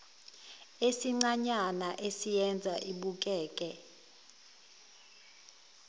esincanyana esiyenza ibukeke